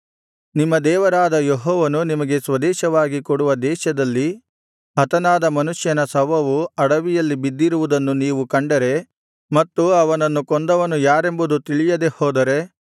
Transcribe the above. ನಿಮ್ಮ ದೇವರಾದ ಯೆಹೋವನು ನಿಮಗೆ ಸ್ವದೇಶವಾಗಿ ಕೊಡುವ ದೇಶದಲ್ಲಿ ಹತನಾದ ಮನುಷ್ಯನ ಶವವು ಅಡವಿಯಲ್ಲಿ ಬಿದ್ದಿರುವುದನ್ನು ನೀವು ಕಂಡರೆ ಮತ್ತು ಅವನನ್ನು ಕೊಂದವನು ಯಾರೆಂಬುದು ತಿಳಿಯದೆ ಹೋದರೆ